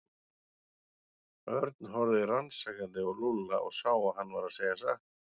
Örn horfði rannsakandi á Lúlla og sá að hann var að segja satt.